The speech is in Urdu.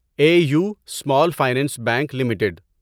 a U small finance bank limited